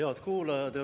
Head kuulajad!